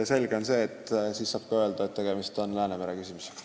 Seega on selge, et tegemist on ka Läänemere küsimusega.